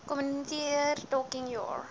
kommunikeer talking your